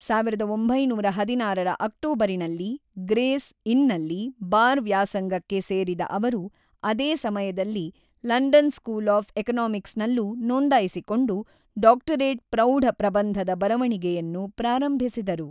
ಸಾವಿರದ ಒಂಬೈನೂರ ಹದಿನಾರರ ಅಕ್ಟೋಬರಿನಲ್ಲಿ ಗ್ರೇಸ್ ಇನ್‌ನಲ್ಲಿ ಬಾರ್ ವ್ಯಾಸಂಗಕ್ಕೆ ಸೇರಿದ ಅವರು ಅದೇ ಸಮಯದಲ್ಲಿ ಲಂಡನ್ ಸ್ಕೂಲ್ ಆಫ್ ಎಕನಾಮಿಕ್ಸ್‌ನಲ್ಲೂ ನೋಂದಾಯಿಸಿಕೊಂಡು ಡಾಕ್ಟರೇಟ್ ಪ್ರೌಢ ಪ್ರಬಂಧದ ಬರವಣಿಗೆಯನ್ನು ಪ್ರಾರಂಭಿಸಿದರು.